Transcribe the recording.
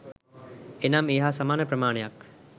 එනම් ඒ හා සමාන ප්‍රමාණයක්